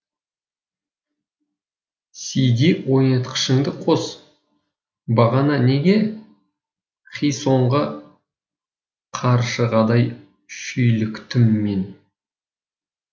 сд ойнатқышыңды қос бағана неге хи сонға қаршығадай шүйліктім мен